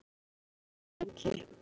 Rannsókn er í gangi.